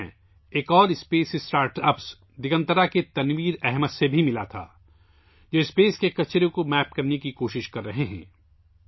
میں ایک اور خلائی اسٹارٹ اپ دگنترا کے تنویر احمد سے بھی ملا تھا، جو خلا کے کچرے کی نقشہ بندی کی کوشش کررہے ہیں